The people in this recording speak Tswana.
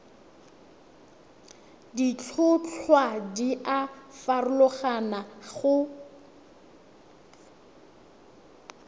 ditlhotlhwa di a farologana go